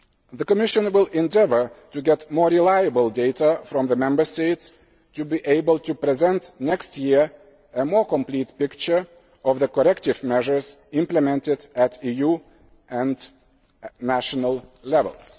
The Commission will endeavour to get more reliable data from the Member States in order to be able to present next year a more complete picture of the corrective measures implemented at EU and national